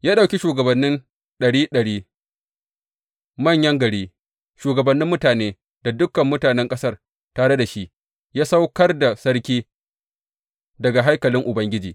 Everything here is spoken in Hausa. Ya ɗauki shugabannin ɗari ɗari, manyan gari, shugabannin mutane da dukan mutanen ƙasar tare da shi ya saukar da sarki daga haikalin Ubangiji.